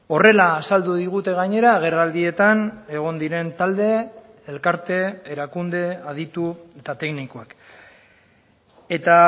horrela azaldu digute gainera agerraldietan egon diren talde elkarte erakunde aditu eta teknikoak eta